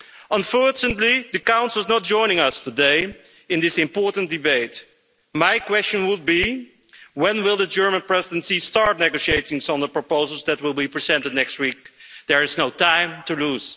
Unfortunately, the Council is not joining us today in this important debate. My question would be, when will the German Presidency start negotiations on the proposals that will be presented next week? There is no time to lose.